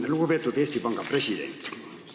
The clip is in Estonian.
Lugupeetud Eesti Panga president!